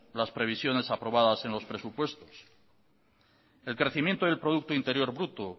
las previsiones aprobadas en los presupuestos el crecimiento y el producto interior bruto